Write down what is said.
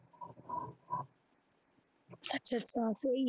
ਅੱਛਾ ਅੱਛਾ ਉਹੀ ਹੈ।